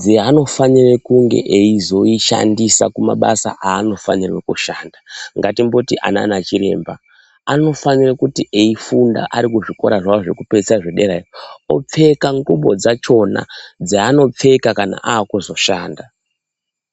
dzeanofanira kunge eizoshandisa kumabasa aanofanirwe kushanda. Ngatimboti anaana chiremba anofanire kuti eifunda arikuzvikora zvavo zvekupeisira zvederayo opfeka ngubo dzachona dzaanopfeka kana aakuzoshanda.